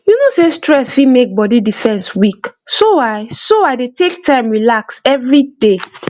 you know sey stress fit make body defence weak so i so i dey take time relax every day